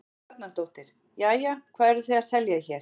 Helga Arnardóttir: Jæja, hvað eruð þið að selja hér?